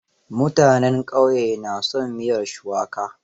Mutanen ƙauye na son miyar shuwaka.